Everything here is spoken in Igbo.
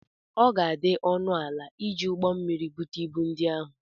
Ọ ga-adị ọnụ ala iji ụgbọ mmiri bute ibu ndi ahụ.